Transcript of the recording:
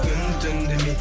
күн түн демей